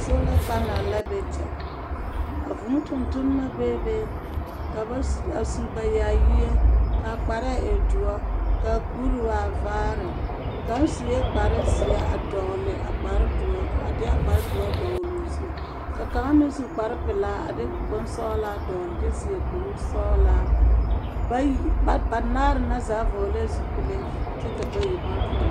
Soola panɛl la be kyɛ. A vūū tontonema bee be, ka ba su… a su ba yaayie, ka a kparɛɛ e doɔ, ka a kuri waa vaare, kaŋ sue kpare zeɛ a dɔgle a kpare doɔ, a deɛ a kpare doɔ dɔgloo zu, ka kaŋ meŋ su bompelaa a de bonsɔglaa dɔgle kyɛ seɛ kuri sɔglaa. Bayi… banaare na zaa vɔɔlɛɛ zupile kyɛ ka bayi ba vɔɔl.